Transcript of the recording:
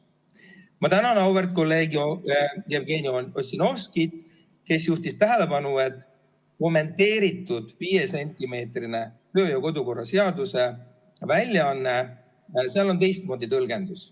Ma tänan auväärt kolleeg Jevgeni Ossinovskit, kes juhtis tähelepanu, et kommenteeritud viiesentimeetrise kodu- ja töökorra seaduse väljaandes on teistmoodi tõlgendus.